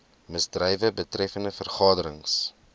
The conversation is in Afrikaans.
misdrywe betreffende vergaderings